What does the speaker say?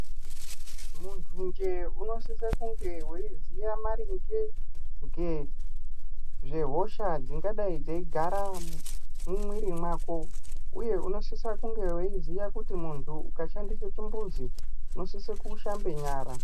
Muntu njee unosise kunge weizive maringe ngezvehosha dzingadaii dzeigara mumwiri wako uye unosisa kunge weiziva kuti muntu ukashandise chimbuzi unosise kushabe nyara.